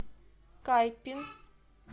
кайпин